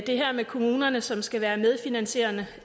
det her med kommunerne som skal være medfinansierende